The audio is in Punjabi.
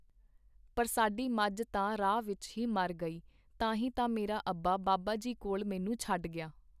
ਪਰ ਸਾਡੀ ਮੱਝ ਤਾਂ ਰਾਹ ਵਿੱਚ ਹੀ ਮਰ ਗਈ ਤਾਂ ਹੀ ਤਾਂ ਮੇਰਾ ਅੱਬਾ ਬਾਬਾ ਜੀ ਕੋਲ ਮੈਨੂੰ ਛੱਡ ਗਿਆ .